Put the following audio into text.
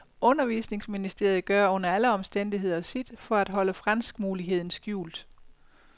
Undervisningsministeriet gør under alle omstændigheder sit for at holde franskmuligheden skjult.